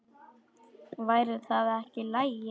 Væri það ekki í lagi?